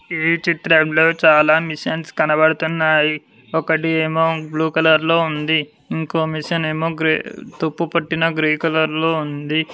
ఈ చిత్రంలో చాలా మిషన్స్ కనబడుతున్నాయి ఒకటి ఏమో బ్లూ కలర్ లో ఉంది ఇంకో మిషన్ ఏమో తప్పు పెట్టిన గ్రే కలర్ లో ఉంది.